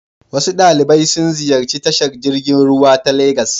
Wasu ɗalibai sun ziyarci tashar jirgin ruwa ta Legas.